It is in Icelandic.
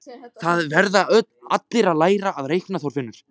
Það verða allir að læra að reikna, Þorfinnur